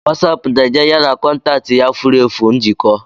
Wasapu na-enye ya na kọntaktị ya furu efu njikọ.